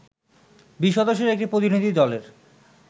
২০ সদস্যের একটি প্রতিনিধি দলের